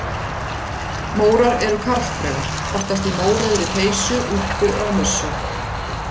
Mórar eru karldraugar, oftast í mórauðri peysu, úlpu eða mussu.